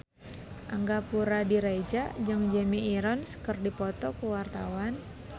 Angga Puradiredja jeung Jeremy Irons keur dipoto ku wartawan